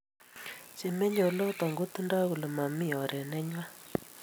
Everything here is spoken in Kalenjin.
che meye oloton ko kotindai kole mami oret nenywan